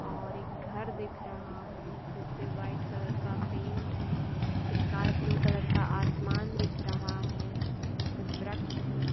और एक घर दिख रहा है। जिसपे व्हाइट कलर का पेंट है। स्काइ ब्लू कलर का आसमान दिख रहा है। कुछ व्रक्ष है।